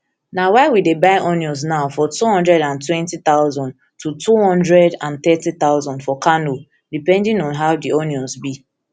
na why we dey buy onions now for two hundred and twenty thousand to two hundred and thirty thousand for kano depending on how di onions be